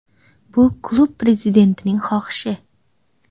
Bu klub prezidentining xohishi.